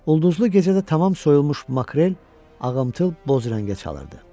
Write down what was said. Ulduzlu gecədə tamam soyulmuş makrel ağamtıl boz rəngə çalırdı.